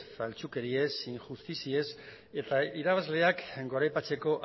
faltsukeriez injustiziez eta irabazleak goraipatzeko